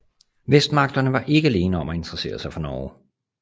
Vestmagterne var ikke alene om at interessere sig for Norge